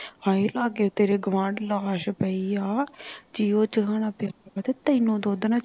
ਹਏ ਲਗੇ ਤੇਰੇ ਗੁਆਂਡ ਲਾਸ਼ ਪਈ ਆ ਤੇ ਉਹ ਚਰਨ ਲਗ ਪਿਆ ਤੇ ਤੈਨੂੰ ਦੁਧ ਨਾਲ ਚੌਲ